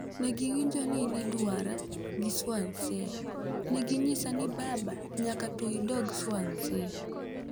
Negiwinjo ni nidwara (gi Swansea) negi nyisa ni baba nyaka to idog Swansea.